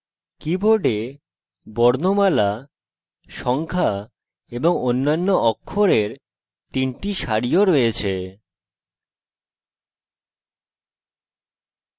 keyboard বর্ণমালা সংখ্যা এবং অন্যান্য অক্ষরের তিনটি সারিও রয়েছে